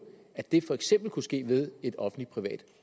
at det for eksempel kunne ske ved et offentlig privat